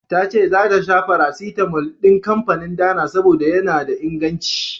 Tace zata sha farasitamol din kanfanin Dana, saboda yana da inganci.